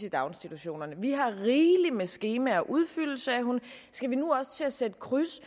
i daginstitutionerne vi har rigeligt med skemaer at udfylde sagde hun skal vi nu også til at sætte kryds